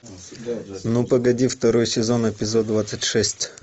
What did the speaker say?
ну погоди второй сезон эпизод двадцать шесть